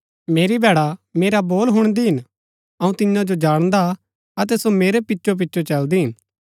मेरी भैड़ा मेरा बोल हुणदी हिन अऊँ तियां जो जाणदा हा अतै सो मेरै पिचो पिचो चलदी हिन